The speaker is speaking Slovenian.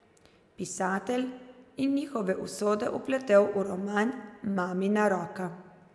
Pisatelj je njihove usode vpletel v roman Mamina roka.